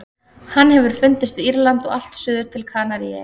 Hann hefur fundist við Írland og allt suður til Kanaríeyja.